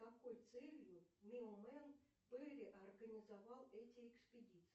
какой целью перри организовал эти экспедиции